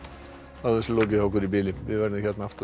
er þessu lokið hjá okkur í bili við verðum hérna aftur